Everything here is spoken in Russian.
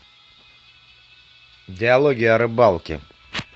диалоги о рыбалке